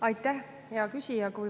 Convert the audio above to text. Aitäh, hea küsija!